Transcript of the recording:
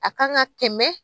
A kan ka tɛmɛ